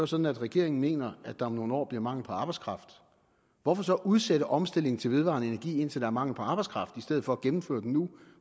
sådan at regeringen mener at der om nogle år bliver mangel på arbejdskraft hvorfor så udsætte omstillingen til vedvarende energi indtil der er mangel på arbejdskraft i stedet for at gennemføre den nu